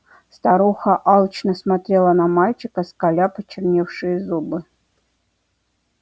старуха алчно смотрела на мальчика скаля почерневшие зубы